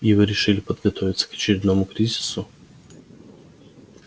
и вы решили подготовиться к очередному кризису